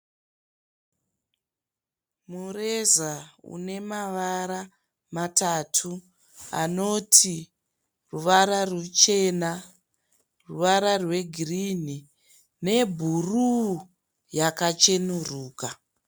Mureza une mavara matatu anoti ruvara ruchena ruvara rwegirini nebhuruu yakachenuruka.